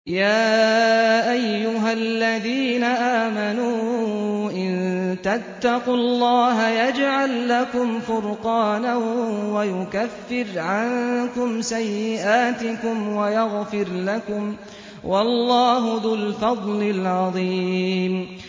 يَا أَيُّهَا الَّذِينَ آمَنُوا إِن تَتَّقُوا اللَّهَ يَجْعَل لَّكُمْ فُرْقَانًا وَيُكَفِّرْ عَنكُمْ سَيِّئَاتِكُمْ وَيَغْفِرْ لَكُمْ ۗ وَاللَّهُ ذُو الْفَضْلِ الْعَظِيمِ